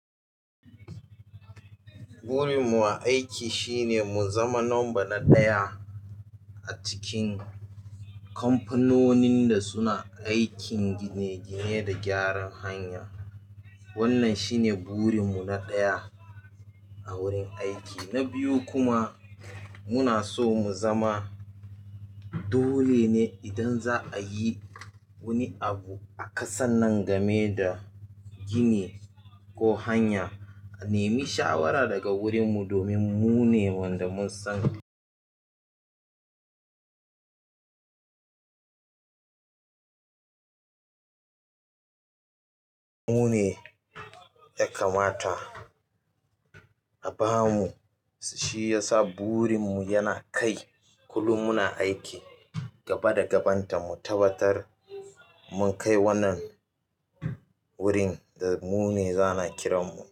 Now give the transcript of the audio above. Burin mu a aiki shine mu zama number na ɗaya a cikin kamfanonin da suna aikin gine-gine da gyaran hanya. Wannan shine burin mu na ɗaya a wurin aiki. Na biyu kuma, muna so mu zama dole ne idan za'a yi wani abu a ƙasan nan game da gini ko hanya, a nemi shawara daga wurin mu domin mune wanda mun san mune ya kamata a bamu. Shiyasa burinmu yana kai kullum muna aiki gaba da gabanta mu tabbatar mun kai wannan wurin da mune za'ana kiranmu.